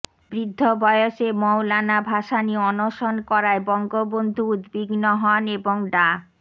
বৃদ্ধ বয়সে মওলানা ভাসানী অনশন করায় বঙ্গবন্ধু উদ্বিগ্ন হন এবং ডা